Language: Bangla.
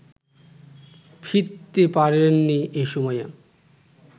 ফিরতে পারেননি এ সময়ে